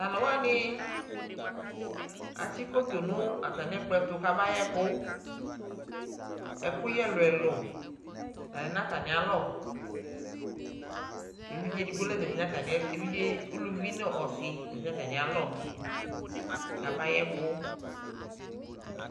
Tʋ alʋ wanɩ atsɩ koto nʋ atamɩ ɛkplɔ ɛtʋ kabayɛ ɛkʋ Ɛkʋyɛ ɛlʋ-ɛlʋ la lɛ nʋ atamɩalɔ Evidze edigbo la zati nʋ atamɩɛtʋ evidze uluvi nʋ ɔsɩ la zati nʋ atamɩalɔ kabayɛ ɛkʋ